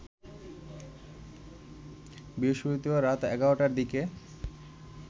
বৃহস্পতিবার রাত ১১টার দিকে